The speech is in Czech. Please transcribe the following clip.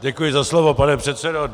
Děkuji za slovo, pane předsedo.